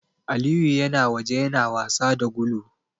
Aliyu yana waje yana wasa da gulu.